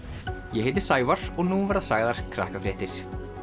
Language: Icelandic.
ég heiti Sævar og nú verða sagðar